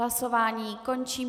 Hlasování končím.